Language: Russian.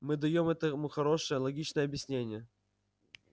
мы даём этому хорошее логичное объяснение